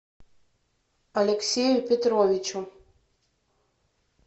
алексею петровичу